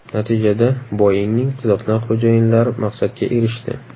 Natijada Boeing‘ning ziqna xo‘jayinlari maqsadga erishdi.